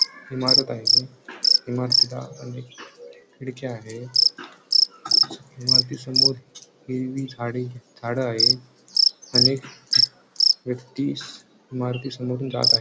इमारत आहे इमारतीला अनेक खिडक्या आहेत इमारती समोर हिरवी झाडे झाड आहेत अनेक व्यक्तिस इमारती समोरून जात आहे.